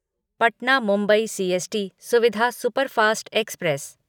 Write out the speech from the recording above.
Patna Mumbai CST Suvidha superfast express